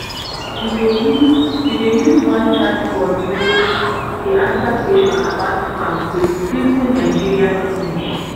we dey use we dey use one chatbot wey dey answer question about farm with simple nigerian english.